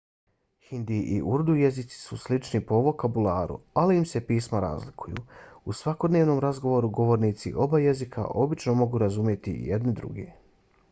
hindi i urdu jezici su slični po vokabularu ali im se pisma razlikuju; u svakodnevnom razgovoru govornici oba jezika obično mogu razumjeti jedni druge